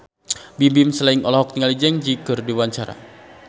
Bimbim Slank olohok ningali Zang Zi Yi keur diwawancara